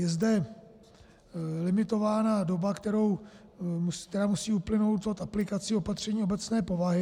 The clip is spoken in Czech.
Je zde limitována doba, která musí uplynout od aplikací opatření obecné povahy.